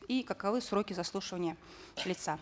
и каковы сроки заслушивания лица